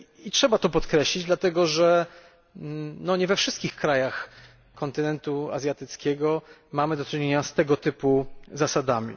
Trzeba to podkreślić, dlatego, że nie we wszystkich krajach kontynentu azjatyckiego mamy do czynienia z tego typu zasadami.